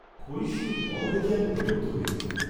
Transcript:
ক্ষয়িষ্ণু ফল দেখে আমি বিরক্ত হয়েছি।